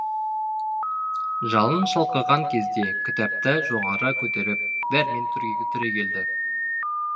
жалын шалқыған кезде кітапты жоғары көтеріп дәрмен түрегелді